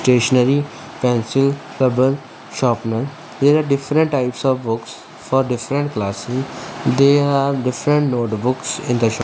stationary pencil rubbar sharpner there are different types of books for different class room there are different notebooks in the shop.